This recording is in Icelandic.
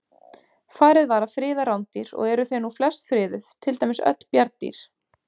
Farið var að friða rándýr og eru þau nú flest friðuð, til dæmis öll bjarndýr.